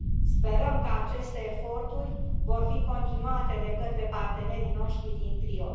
Sperăm că aceste eforturi vor fi continuate de către partenerii noștri din trio.